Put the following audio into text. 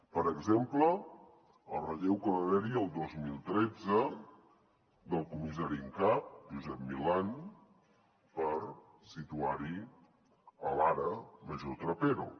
per exemple el relleu que va haver hi el dos mil tretze del comissari en cap josep milán per situar hi l’ara major trapero